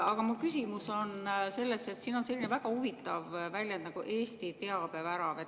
Aga mu küsimus on selles, et siin on selline väga huvitav väljend nagu "Eesti teabevärav".